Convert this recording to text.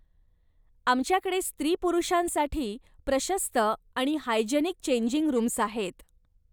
आमच्याकडे स्त्री पुरुषांसाठी प्रशस्त आणि हायजेनिक चेंजिंग रूम्स आहेत.